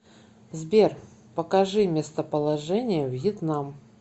сбер покажи местоположение вьетнам